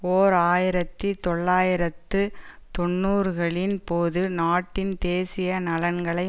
ஓர் ஆயிரத்தி தொள்ளாயிரத்து தொன்னூறுகளின் போது நாட்டின் தேசிய நலன்களை